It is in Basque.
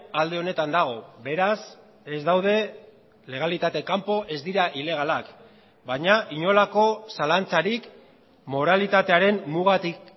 alde honetan dago beraz ez daude legalitate kanpo ez dira ilegalak baina inolako zalantzarik moralitatearen mugatik